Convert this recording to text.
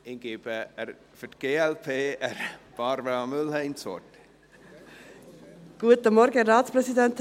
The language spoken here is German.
Ich gebe für die glp Barbara Mühlheim das Wort.